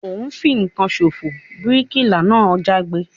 O n fìkan sofo! bíríkìlà náà jágbe